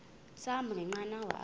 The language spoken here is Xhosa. sahamba ngenqanawa apha